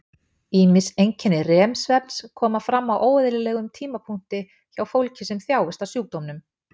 Ýmis einkenni REM-svefns koma fram á óeðlilegum tímapunkti hjá fólki sem þjáist af sjúkdómnum.